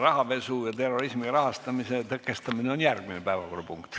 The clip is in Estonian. Rahapesu ja terrorismi rahastamise tõkestamine on järgmine päevakorrapunkt.